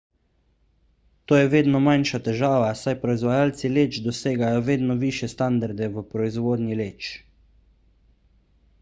to je vedno manjša težava saj proizvajalci leč dosegajo vedno višje standarde v proizvodnji leč